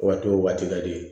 Waati o waati ka di